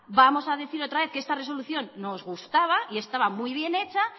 vamos a decir otra vez que esta resolución nos gustaba y estaba muy bien hecha